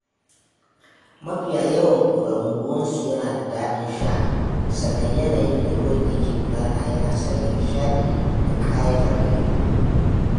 Mafiya yawan ƙoramu ruwansu yana da daɗin sha, sannan yanayin da ruwan yake gudana yana sanya nishaɗi da ƙayatar da ido.